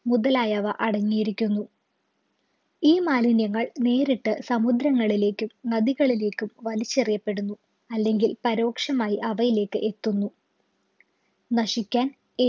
മുതലായവ അടങ്ങിയിരിക്കുന്നു ഈ മാലിന്യങ്ങൾ നേരിട്ട് സമുദ്രങ്ങളിലേക്കും നദികളിലേക്കും വലിച്ചെറിയപ്പെടുന്നു അല്ലെങ്കിൽ പരോക്ഷമായി അവയിലേക്ക് എത്തുന്നു നശിക്കാൻ